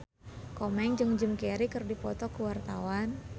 Komeng jeung Jim Carey keur dipoto ku wartawan